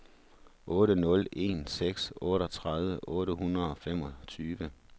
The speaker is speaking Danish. otte nul en seks otteogtredive otte hundrede og femogtyve